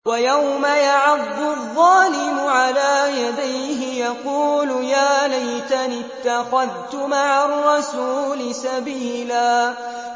وَيَوْمَ يَعَضُّ الظَّالِمُ عَلَىٰ يَدَيْهِ يَقُولُ يَا لَيْتَنِي اتَّخَذْتُ مَعَ الرَّسُولِ سَبِيلًا